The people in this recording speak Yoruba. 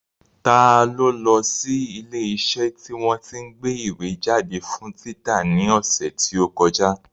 Ta ló lọ sí ilé iṣẹ́ tí wọ́n tí ń gbé ìwé jáde fún títa ní ọ̀sẹ̀ tí ó kọjá?